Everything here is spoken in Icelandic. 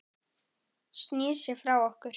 Snýr sér frá okkur.